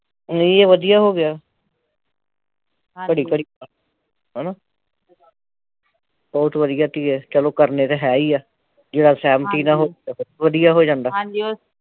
ਨਹੀਂ ਵਧੀਆ ਹੋ ਗਿਆ ਹਣਾ ਬਹੁਤ ਵਧੀਆ ਚਲੋ ਕਰਨੇ ਤਾ ਹੈ ਹੀ ਆ ਜਿਹੜਾ ਸਹਿਮਤੀ ਨਾਲ ਵਧੀਆ ਹੋ ਜਾਂਦਾ